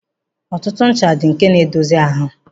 Ọtụtụ ncha dị nke na-edozi ahụ.